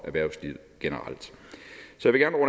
erhvervslivet generelt